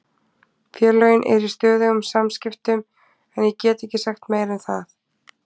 Félögin eru í stöðugum samskiptum en ég get ekki sagt meira en það.